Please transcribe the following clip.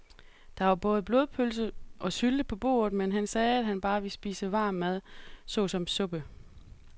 Der var både blodpølse og sylte på bordet, men han sagde, at han bare ville spise varm mad såsom suppe.